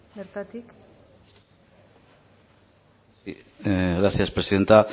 bertatik gracias presidenta